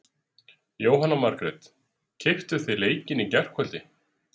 Jóhanna Margrét: Keyptuð þið leikinn í gærkvöldi?